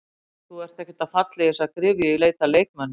Þú ert ekkert að falla í þessa gryfju í leit að leikmönnum?